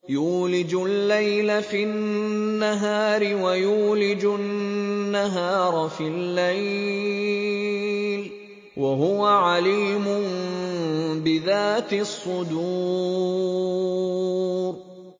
يُولِجُ اللَّيْلَ فِي النَّهَارِ وَيُولِجُ النَّهَارَ فِي اللَّيْلِ ۚ وَهُوَ عَلِيمٌ بِذَاتِ الصُّدُورِ